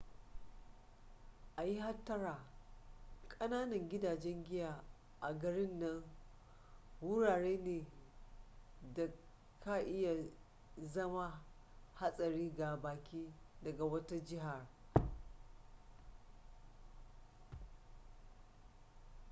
a yi hattara kananan gidajen giya a garin nan wurare ne da ka iya zama hadari ga baki daga wata jihar